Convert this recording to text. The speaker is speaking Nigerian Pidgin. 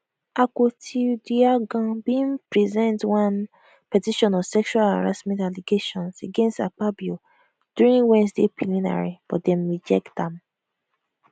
akpotiuduaghan bin present one petition of sexual harassment allegations against akpabio during wednesday plenary but dem reject am